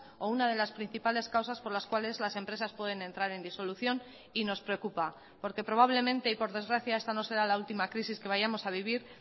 o una de las principales causas por las cuales las empresas pueden entrar en disolución y nos preocupa porque probablemente y por desgracia esta no será la última crisis que vayamos a vivir